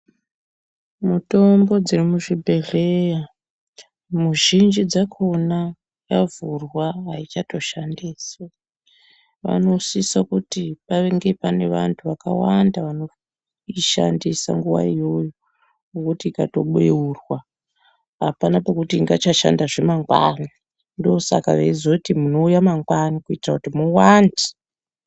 Mutombo dzemuzvibhedhleya mizhinji dzakona yavhurwa ayichatoshandiswi vanosisa kuti pange pane vantu vakawqnda vanoishandisa nguwa iyoyo ngokuti ikatobeurwa apana pekuti ingachashandazve mangwani ndisaka vachizoti munouya mangwani kuitira kuti muwande.